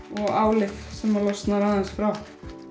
og álið sem losnar aðeins frá